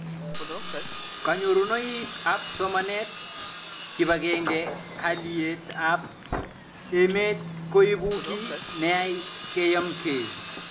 Kanyorunoik ab somanet, kipag'eng'e haliyet ab emet koipu kiy neyai keyemkei